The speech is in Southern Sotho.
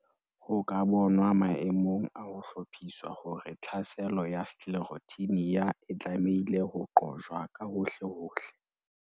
Ho ka bonwa maemong a ho hlophiswa hore tlhaselo ya Sclerotinia e tlamehile ho qojwa ka hohlehohle.